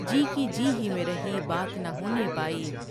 جی کی جی ہی میں رہی بات نہ ہونے پائی